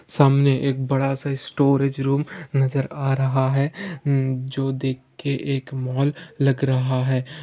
सामने एक बड़ा सा स्टोरेज रूम नजर आ रहा है मम उ-एमएम जो देख के एक मॉल लग रहा है।